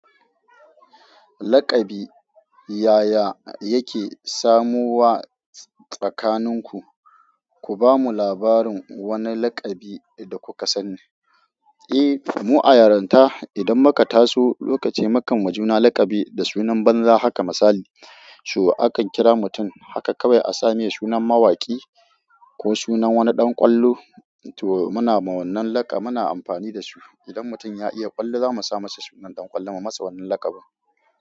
Laƙabi, yaya yake samo wa tsakaninku? Ku bamu labarin wani laƙabi da kuka sani. Eh, mu a yaranta idan muka taso lokaci mukan ma juna laƙabi da sunan banza haka misali, so akan kira mutum haka kawai a sa mai sunan mawaki ko sunan wani ɗan ƙwallo to muna ma wannan laƙa muna amfani da su. Idan mutum ya iya ƙwallo za mu sa masa sunan ɗan ƙwallo mu ma masa wannan lakabi.